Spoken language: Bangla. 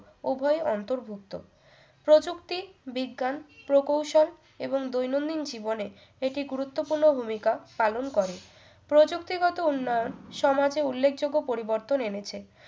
উভয় অন্তর্ভুক্ত প্রযুক্তি বিজ্ঞান প্রকৌশল এবং দৈনন্দিন জীবনে এটি গুরুত্বপূর্ণ ভূমিকা পালন করে প্রযুক্তিগত উন্নয়ন সমাজে উল্লেখযোগ্য পরিবর্তন এনেছে